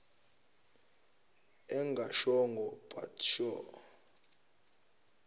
engashongo but sure